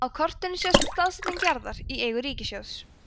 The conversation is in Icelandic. á kortinu sést staðsetning jarða í eigu ríkissjóðs